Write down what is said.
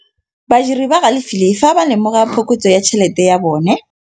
Badiri ba galefile fa ba lemoga phokotsô ya tšhelête ya bone.